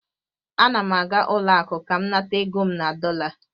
Ana m aga ụlọ akụ ka m nata ego m na dọla